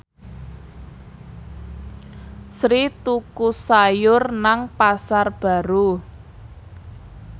Sri tuku sayur nang Pasar Baru